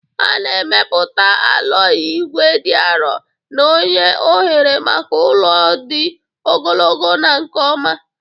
A na-emepụta aloyi ígwè dị arọ na-enye ohere maka ụlọ dị ogologo na nke ọma